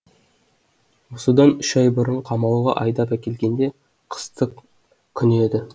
осыдан үш ай бұрын қамауға айдап әкелгенде қыстың күні еді